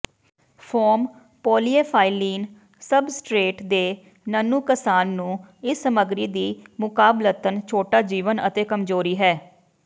foam polyethylene substrate ਦੇ ਨਨੁਕਸਾਨ ਨੂੰ ਇਸ ਸਮਗਰੀ ਦੀ ਮੁਕਾਬਲਤਨ ਛੋਟਾ ਜੀਵਨ ਅਤੇ ਕਮਜ਼ੋਰੀ ਹੈ